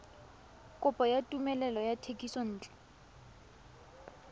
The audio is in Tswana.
kopo ya tumelelo ya thekisontle